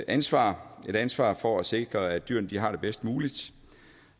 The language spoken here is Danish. ansvar et ansvar for at sikre at dyrene har det bedst muligt